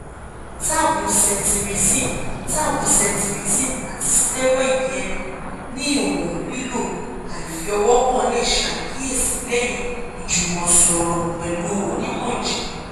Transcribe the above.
tab cetirizine tab cetirizine ati steroid ẹnu ni iwọn lilo aifiowokan le ṣe akiyesi lẹhin ijumọsọrọ pẹ̀lú onímọ̀-ìjìnlẹ̀